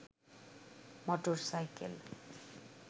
motorcycle